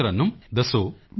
ਹਾਂ ਤਰੱਨੁਮ ਦੱਸੋ